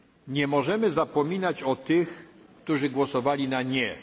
referendum. Nie możemy zapominać o tych, którzy głosowali